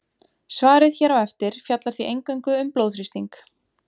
Svarið hér á eftir fjallar því eingöngu um blóðþrýsting.